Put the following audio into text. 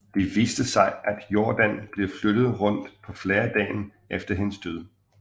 Det viste sig at Jordan var blevet flyttet rundt på flere dagen efter hendes død